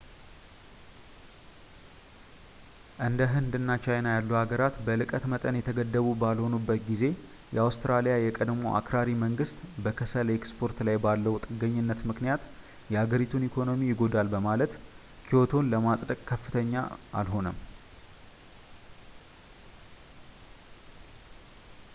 እንደ ህንድ እና ቻይና ያሉ ሀገራት በልቀት መጠን የተገደቡ ባልሆኑበት ጊዜ የአውስትራሊያ የቀድሞው አክራሪ መንግስት በከሰል ኤክስፖርት ላይ ባለው ጥገኝነት ምክንያት የሀገሪቱን ኢኮኖሚ ይጎዳል በማለት ክዮቶን ለማፅደቅ ፈቃደኛ አልሆነም